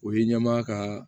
O ye ɲɛmaa kaa